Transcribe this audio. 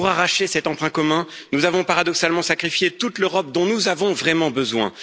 Pour arracher cet emprunt commun, nous avons paradoxalement sacrifié toute l'Europe dont nous avons vraiment besoin.